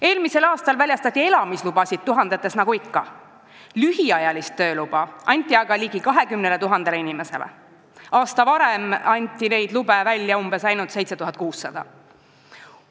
Eelmisel aastal väljastati elamislubasid nagu ikka tuhandetes, lühiajalise tööloa aga sai ligi 20 000 inimest, samas, kui aasta varem anti neid lube välja ainult 7600 ringis.